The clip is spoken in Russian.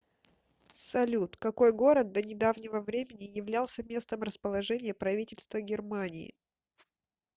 салют какой город до недавнего времени являлся местом расположения правительства германии